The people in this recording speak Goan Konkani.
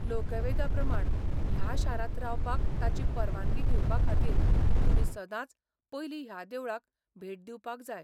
लोकवेदा प्रमाण ह्या शारांत रावपाक ताची परवानगी घेवपा खातीर तुमी सदांच पयलीं ह्या देवळाक भेट दिवपाक जाय.